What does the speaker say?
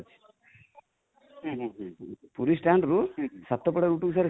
Puri stand ରୁ ସାତପଡ଼ା କୁ ଗୋଟେ sir